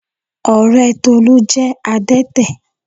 Ọ̀rẹ́ Tolú jẹ́ adẹ́tẹ̀